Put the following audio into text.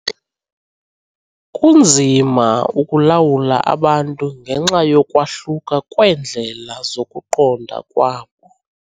Kunzima ukulawula abantu ngenxa yokwahluka kweendlela zokuqonda kwabo.